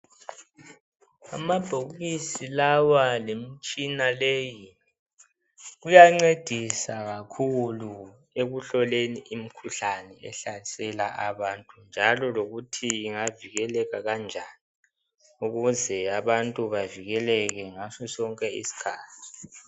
Amabhokisi lawa lemtshina leyi kuyancedisa kakhulu ekuhloleni imkhuhlane ehlasela abantu njalo lokuthi ingavikeleka njani ukuze abantu bavikeleke ngaso sonke iskhathi.